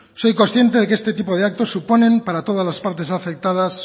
soy consciente de que este tipo de actos suponen para todas las partes afectadas